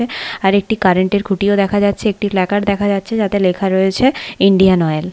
আরেকটি কারেন্ট -এর খুঁটিও দেখা যাচ্ছে একটি প্ল্যাকার্ড দেখা যাচ্ছে যাতে লেখা রয়েছে ইন্ডিয়ান অয়েল ।